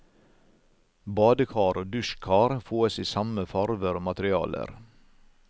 Badekar og dusjkar fåes i samme farver og materialer.